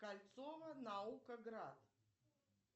кольцово наукоград